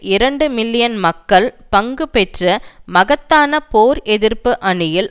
இரண்டு மில்லியன் மக்கள் பங்கு பெற்ற மகத்தான போர் எதிர்ப்பு அணியில்